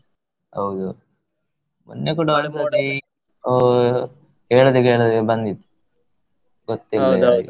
ಹೌದು ಮೊನ್ನೆ ಕೂಡ ಒಂದ್ ಸತಿ ಅಹ್ ಹೇಳದೆ ಕೇಳದೆ ಬಂದಿತ್ತು, ಗೊತ್ತಿಲ್ಲದ ಹಾಗೆ.